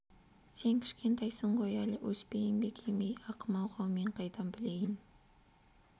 сен кішкентайсың ғой әлі өспейім бе екем ей ақымақ-ау мен қайдан білейін